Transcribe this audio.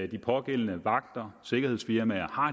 de pågældende vagter og sikkerhedsfirmaer har